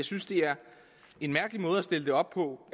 synes det er en mærkelig måde at stille det op på